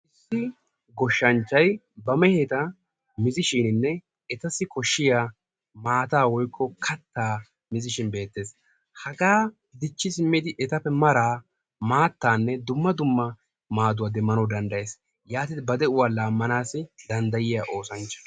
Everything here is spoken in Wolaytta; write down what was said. Issi goshshanchcay ba mehetta miishshininnne etassi koshshiyaa maata woykko katta miizzishin be; eettees. hagaa dichchi simmidi etappe mara maattanne dumma dumma maaduwaa demmanawu danddayyees. yaatidi ba de'uwaa laammanaw danddyiyaa oosanchcha.